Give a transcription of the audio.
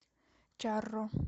чарро